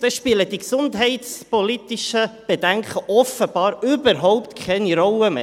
Dann spielen die gesundheitspolitischen Bedenken offenbar überhaupt keine Rolle mehr.